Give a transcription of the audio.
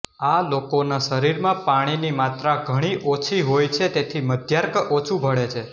આ લોકોના શરીરમાં પાણીની માત્રા ઘણી ઓછી હોય છે તેથી મદ્યાર્ક ઓછુ ભળે છે